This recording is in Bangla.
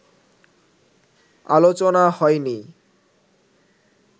আলোচনা হয়নি